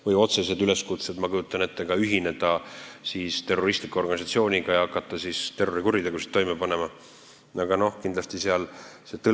Ka otsesed üleskutsed ühineda terroristliku organisatsiooniga ja hakata terrorikuritegusid toime panema on kõigile selge asi, ma kujutan ette.